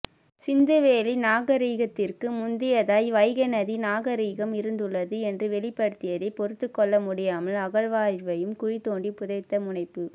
சிந்துவெளி நாகரிகத்திற்கு முந்தையதாய் வைகை நதி நாகரிகம் இருந்துள்ளது என்று வெளிப்படுத்தியதைப் பொறுத்துக்கொள்ள முடியாமல் அகழ்வாய்வையும் குழிதோண்டிப் புதைத்த முனைப்பு